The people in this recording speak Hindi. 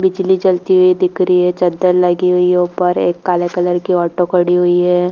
बिजली जलती हुई दिख रही है चद्दर लगी हुई है ऊपर एक काले कलर की ऑटो खड़ी हुई है।